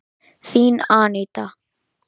Þín, Aníta.